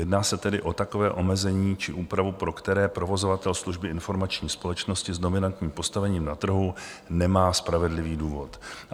Jedná se tedy o takové omezení či úpravu, pro které provozovatel služby informační společnosti s dominantním postavením na trhu nemá spravedlivý důvod.